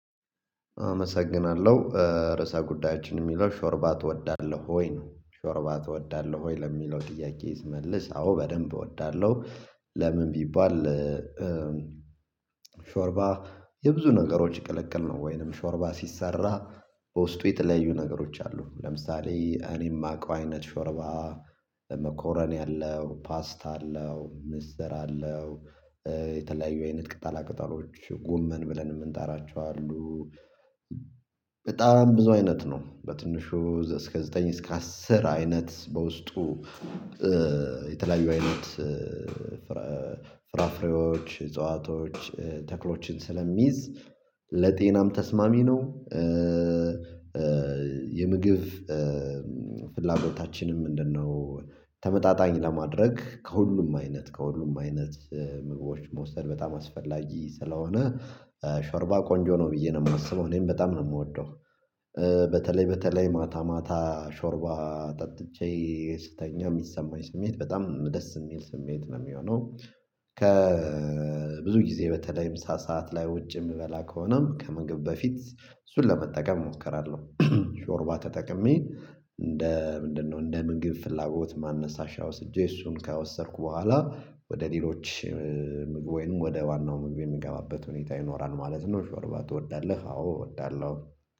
አመሰግናለሁ ርዕሰ ጉዳዮችን የሚለው ሾርባ እወዳለሁ ወይ ነው ሾርባ እወዳለሁ ወይ ለሚለው ጥያቄ ይመልስ አዎ በደንብ እወዳለሁ። ለምን ቢባል ሾርባ የብዙ ነገሮች ቅልቅል ነው። ወይንም ሾርባ ሲሰራ በውስጡ የተለያዩ ነገሮች አሉ። ለምሳሌ እኔ የማውቀው አይነት ሾርባ ኮረኒ አለው ፓስት አለው ምስጥር የተለያዩ አይነት ቅጠላ ቅጠሎች ጎመን ብለን የምንጣራቸው አሉ። በጣም ብዙ አይነት ነው በትንሹ እስከ ዘጠኝ እስከ አስር አይነት በውስጡ የተለያዩ አይነት ፍራፍሬዎች እጽዋቶች ተክሎችን ስለሚይዝ ለጤናም ተስማሚ ነው። የምግብ ፍላጎታችንም ምንድነው? ተመጣጣኝ ለማድረግ ከሁሉም አይነት ከሁሉም አይነት ምግቦች መውሰድ በጣም አስፈላጊ ስለሆነ። ሾርባ ቆንጆ ነው ብዬ ነው የማስበው እኔም በጣም ነው የምወደው። በተለይ በተለይ ማታ ማታ ሾርባ ጠጥቼ ስተኛ የሚሰማኝ ስሜት በጣም ደስ የሚል ስሜት ነው የሚሆነው። ከብዙ ጊዜ በተለይ ምሳ ሰዓት ላይ ውጭ የምበላ ከሆነም ከመግብ በፊት እሱን ለመጠቀም እሞክራለሁ። ሾርባ ተጠቅሜ እንደ ምንድነው እንደ ምንግብ ፍላጎት ማን ነሳሻ ወስጄ እሱን ከወሰድኩ በኋላ ወደ ሌሎች ምግብ ወይንም ወደ ዋናው ምግብ የሚገባበት ሁኔታ ይኖራል ማለት ነው። ሾርባ ትወዳለህ? አዎ እወዳለሁ